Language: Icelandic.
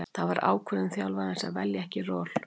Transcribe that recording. Það var ákvörðun þjálfarans að velja ekki Raul.